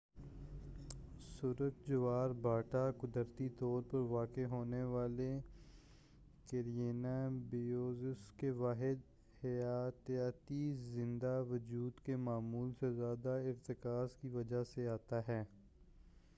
سرخ جوار بھاٹا قدرتی طور پر واقع ہونے والے کیرینیا بریویس کے واحد حیاتیاتی زندہ وجود کی معمول سے زیادہ ارتکاز کی وجہ سے آتا ہے